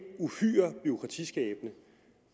uhyre bureaukratiskabende